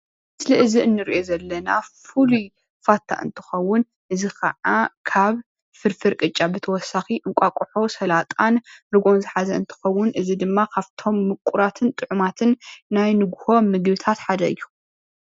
እዚ ምስሊ እዚ እንሪኦ ዘለና ፍሉይ ፋታ እንትከዉን እዚ ከኣ ካብ ፍርፍር ቅጫ ብተወሳኪ እንቋቁሖ ስላጣን ርግኦን ዝሓዘ እንትከውን እዚ ድማ ካብቶም ሙቁራትን ጥዑማትን ናይ ንጉሆ ምግብታት ሓደ እዩ